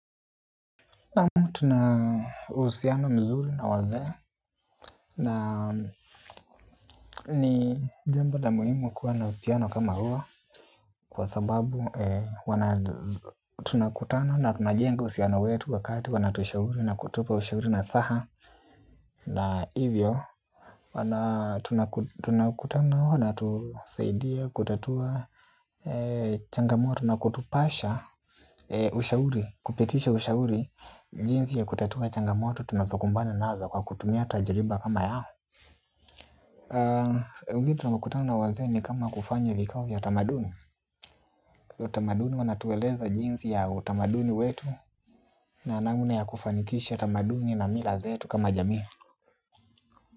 Naam tuna uhusiano mzuri na waze na ni jambo la muhimu kuwa na uhusiano kama huu. Kwa sababu tuna kutana na tunajenga uhusiano wetu wakati wanatushauri na kutupa ushauri nasaha. Na hivyo tunakutana huo natusaidia kutatua changamoto na kutupasha ushauri. Kupitisha ushauri, jinsi ya kutatua changamoto tunazokumbana nazo kwa kutumia tajiriba kama yao. Ugeni tunapokutana na wazee ni kama kufanya vikao vya tamaduni. Utamaduni wanatueleza jinsi ya utamaduni wetu na namna ya kufanikisha utamaduni na mila zetu kama jamii.